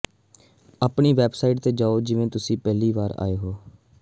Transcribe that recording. ਆਪਣੀ ਵੈਬਸਾਈਟ ਤੇ ਜਾਓ ਜਿਵੇਂ ਤੁਸੀਂ ਪਹਿਲੀ ਵਾਰ ਆਏ ਹੋ